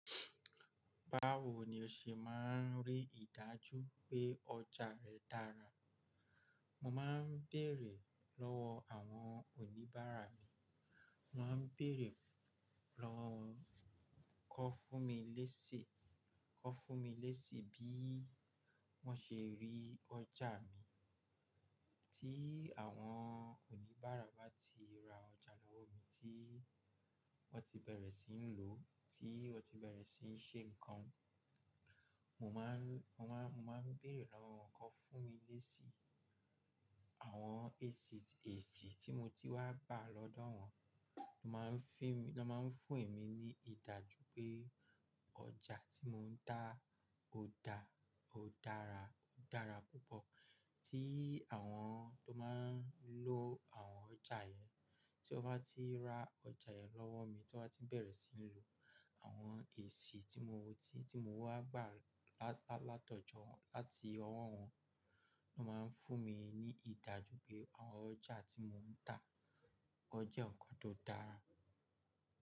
Báwo ni o ṣe máa ń rí ìdájú pé ọjà rẹ dára? Mo máa ń bèèrè lọ́wọ́ àwọn oníbàárà mi. Mo má ń bèèrè lọwọ won kó fún mi lési, kọ fún mi lési bí wọ́n ṣe rí ọjà mi. Tí àwọn oníbàárà bá ti ra ọjà lọ́wọ́ mi tí wọ́n ti bẹ̀rẹ̀ sí ń lò, tí wọ́n ti bẹ̀rẹ̀ sí ń ṣe nǹkan, mo máa ń, mo máa, mo máa ń bèèrè lọ́wọ́ wọn kọ fún mi lési. Àwọn èsì tí mo ti wá bá lọ́dọ̀ wọn, ló máa ń fún èmi ní ìdájú pé ọjà tí mò ń tà ó da, ó dára, ó dára púpọ̀. Tí àwọn tó máa ń lò àwọn ọjà yẹn, tí wọ́n bá ti ra ọjà yẹn lọ́wọ́ mi, tí wọ́n bá ti bẹ̀rẹ̀ sí ń lò, àwọn èsì tí mo ti, tí mo wá gbà látọ̀jọ, láti ọwọ́ wọn ló máa ń fún mi ní ìdájú pé àwọn ọjà tí mò ń tà ó jẹ́ nǹkan tó dára.